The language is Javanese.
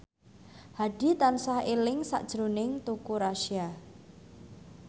Hadi tansah eling sakjroning Teuku Rassya